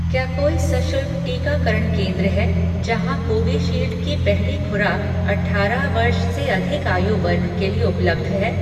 क्या कोई सशुल्क टीकाकरण केंद्र हैं जहाँ कोविशील्ड की पहली खुराक अठारह वर्ष से अधिक आयु वर्ग के लिए उपलब्ध है